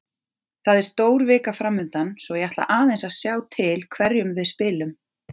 Það er stór vika framundan svo ég ætla aðeins að sjá til hverjum við spilum.